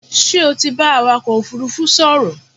Ṣé o ti bá awakọ̀ òfúrúfú sọ̀rọ̀?